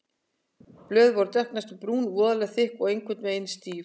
Blöðin voru dökk, næstum brún, voðalega þykk og einhvern veginn stíf.